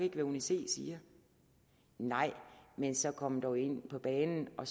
hvad uni c siger nej men så kom dog ind på banen og